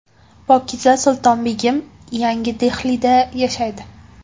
Pokiza Sultonbegim yangi Dehlida yashaydi.